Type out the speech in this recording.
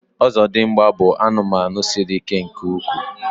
ọzọdịmgba bụ anụmanụ siri ike nke ukwuu